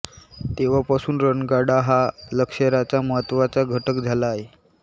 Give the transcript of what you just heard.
तेव्हापासून रणगाडा हा लष्कराचा महत्त्वाचा घटक झाला आहे